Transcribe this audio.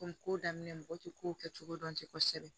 Komi ko daminɛ mɔgɔ tɛ ko kɛ cogo dɔn tɛ kosɛbɛ